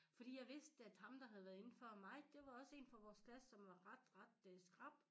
Fordi jeg vidste at ham der have været inde før mig det var også én fra vores klasse som var ret ret øh skrap